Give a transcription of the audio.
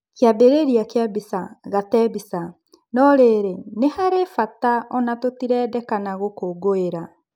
Kĩambĩrĩria kĩa mbica, Gate Mbica "No-riri nĩharĩ bata ona-tũtirendekana gũkũngũĩra.